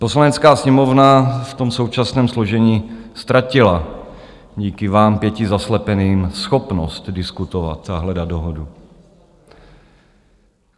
Poslanecká sněmovna v tom současném složení ztratila díky vám pěti zaslepeným schopnost diskutovat a hledat dohodu.